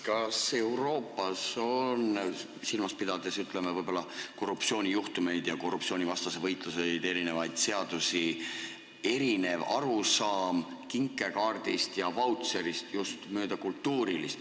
Kas Euroopas on – pidades silmas, ütleme, korruptsioonijuhtumeid ja korruptsioonivastaseid võitlusi, erinevaid seadusi – erinev arusaam kinkekaardist ja vautšerist just mööda kultuurilist tausta.